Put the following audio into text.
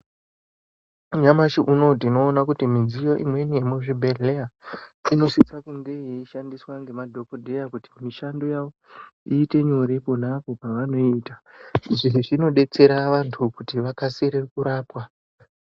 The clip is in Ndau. Nyamashi unowu tinoona midziyo imweni yemuzvibhedhleya inosisa kunge yeishandiswa ngemadhokodheya kuti mishando yavo iite nyore ponapo pavanoenda izvi zvinodetsera vanthu kuti vakasire kurapwa.